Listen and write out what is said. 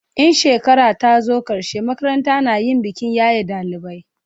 in shekara ta zo karshe makaranta na yin bikin yaye dalibai